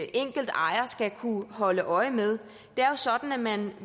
enkelt ejer skal kunne holde øje med det er jo sådan at man